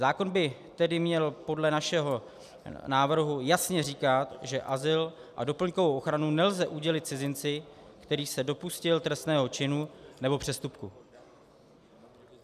Zákon by tedy měl podle našeho návrhu jasně říkat, že azyl a doplňkovou ochranu nelze udělit cizinci, který se dopustil trestného činu nebo přestupku.